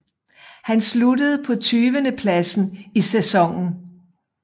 Han sluttede på tyvendepladsen i sæsonen